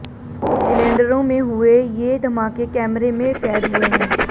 सिलेंडरों में हुए ये धमाके कैमरे में कैद हुए हैं